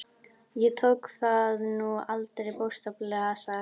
Ég tók það nú aldrei bókstaflega, sagði Eggert.